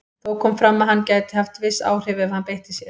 Þó kom fram að hann gæti haft viss áhrif ef hann beitti sér.